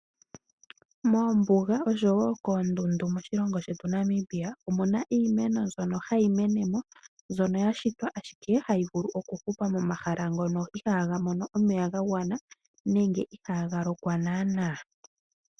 Moombuga oshowo koondundu moshilongo shetu Namibia omuna iimeno mbyono hayi mene mo. Mbyono ya shitwa ashike hayi vulu okuhupa momahala ngono ihaaga mono omeya ga gwana nenge ihaaga lokwa naanaa.